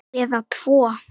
Eða tvo.